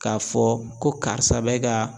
K'a fɔ ko karisa bɛ ka